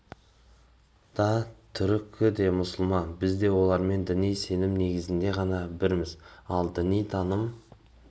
да түркі те мұсылман біз де олармен діни сенім негізінде ғана бірміз ал діни таным